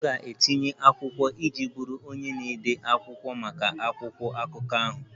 M ga-etinye akwụkwọ iji bụrụ onye na-ede akwụkwọ maka akwụkwọ akụkọ ahụ